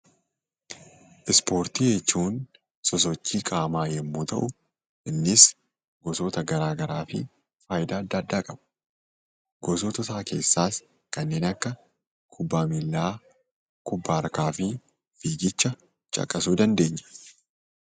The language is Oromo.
Ispoortii jechuun sosochii qaamaa yommuu ta'u, innis gosoota garaa garaa fi faayidaa adda addaa qaba. Gosoota isaa keessaas kanneen akka kubbaa miillaa, kubbaa harkaa fi fiigicha caqasuu dandeenya.